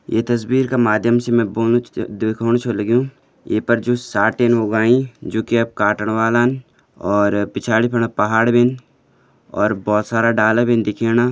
ये तस्वीर का माध्यम से मैं बोल्न च-च दिखोण छ लग्युं ये पर जू साटिन उगाईं जूकी अब काटन वालन और पिछाड़ी फुन पहाड़ भी और बहोत सारा डाला भीन दिखेणा।